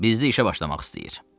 Bizdə işə başlamaq istəyir.